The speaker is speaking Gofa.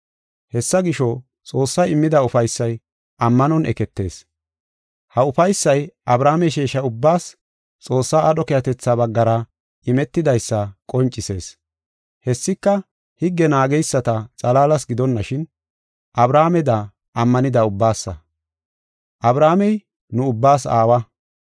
Hessa gisho, Xoossay immida ufaysay ammanon eketees. Ha ufaysay Abrahaame sheesha ubbaas Xoossaa aadho keehatetha baggara imetidaysa qoncisees. Hessika higge naageysata xalaalas gidonashin, Abrahaameda ammanida ubbaasa. Abrahaamey nu ubbaas aawa.